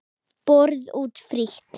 Borið út frítt.